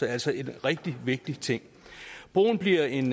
er altså en rigtig vigtig ting broen bliver en